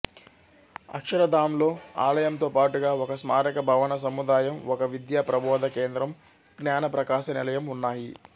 అక్షరధాంలో ఆలయంతో పాటుగా ఒక స్మారక భవన సముదాయం ఒక విద్యా ప్రభోధ కేంద్రం జ్ఞాన ప్రకాశ నిలయం ఉన్నాయి